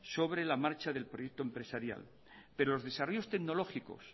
sobre la marcha del proyecto empresarial pero los desarrollos tecnológicos